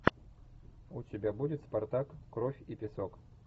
у тебя будет спартак кровь и песок